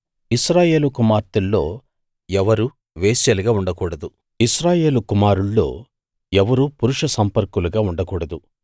ఇశ్రాయేలు కుమార్తెల్లో ఎవరూ వేశ్యలుగా ఉండకూడదు ఇశ్రాయేలు కుమారుల్లో ఎవరూ పురుష సంపర్కులుగా ఉండకూడదు